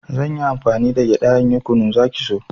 Zanyi amfani da gyaɗa in yi kunu, zaki so